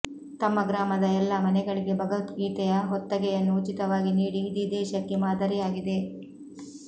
ತಮ್ಮ ಗ್ರಾಮದ ಎಲ್ಲಾ ಮನೆಗಳಿಗೆ ಭಗವದ್ಗೀತೆಯ ಹೊತ್ತಗೆಯನ್ನು ಉಚಿತವಾಗಿ ನೀಡಿ ಇಡೀ ದೇಶಕ್ಕೆ ಮಾದರಿಯಾಗಿದೆ